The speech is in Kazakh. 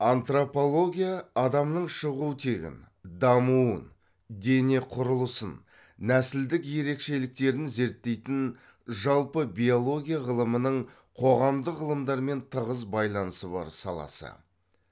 антропология адамның шығу тегін дамуын дене құрылысын нәсілдік ерекшеліктерін зерттейтін жалпы биология ғылымының қоғамдық ғылымдармен тығыз байланысы бар саласы